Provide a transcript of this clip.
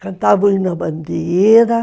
Cantavam a bandeira.